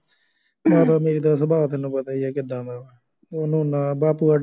ਮਾਤਾ ਮੇਰੀ ਦਾ ਸੁਭਾਅ ਤੈਨੂੰ ਪਤਾ ਹੀ ਆ ਕਿਦਾਂ ਦਾ ਉਹਨੂੰ ਨਾ ਬਾਪੂ ਦਾ ਡਰ